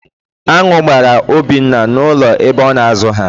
Án̄ụ́ gbara Obinna n'ụlọ ebe ọ na-azụ ha.